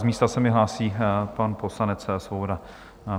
Z místa se mi hlásí pan poslanec Svoboda.